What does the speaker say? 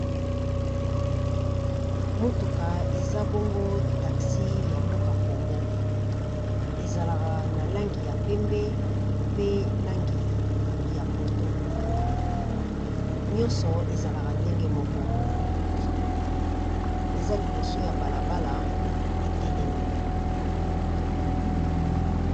Motuka eza bongo taxi ya mboka Congo ezalaka na langi ya pembe, pe langi ya pondu. Nyonso ezalaka ndenge moko eza liboso ya bala bala etelemi.